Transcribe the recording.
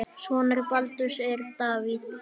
Sonur Baldurs er Davíð.